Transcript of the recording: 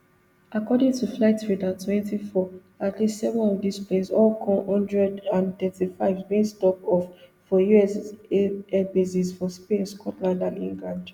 according to flightradartwenty-four at least seven of dis planes all kc one hundred and thirty-fives bin stop off for us airbases for spain scotland and england